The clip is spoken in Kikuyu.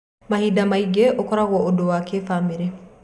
Mahinda mangĩ ũkoragwo ũndũ wa kĩfamĩlĩ.